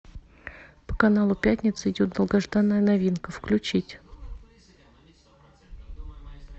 по каналу пятница идет долгожданная новинка включить